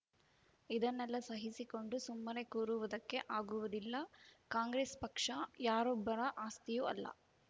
ಇದನ್ನೆಲ್ಲಾ ಸಹಿಸಿಕೊಂಡು ಸುಮ್ಮನೆ ಕೂರುವುದಕ್ಕೆ ಆಗುವುದಿಲ್ಲ ಕಾಂಗ್ರೆಸ್‌ ಪಕ್ಷ ಯಾರೊಬ್ಬರ ಆಸ್ತಿಯೂ ಅಲ್ಲ